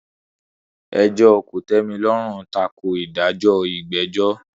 Ẹjọ́ kòtẹ́milọ́rùn tako ìdájọ́ ìgbẹ́jọ́.